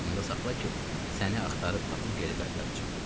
Amma yadında saxla ki, səni axtarıb tapıb geri qaytaracam.